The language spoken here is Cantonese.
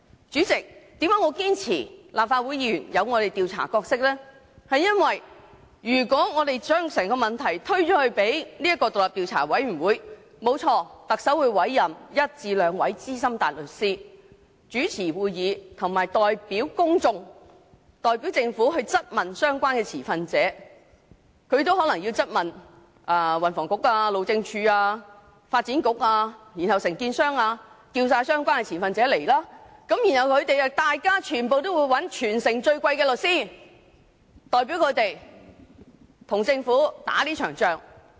主席，我堅持立法會議員有其調查角色，是因為如果我們把整個問題推給那個調查委員會，特首確會委任一至兩位資深大律師主持會議，並代表公眾和政府質問相關的持份者，包括運輸及房屋局、路政署、發展局及有關承建商等，傳召相關的持份者出席調查委員會的會議，而他們亦會聘請全城最昂貴的律師代表他們，跟政府打這場仗。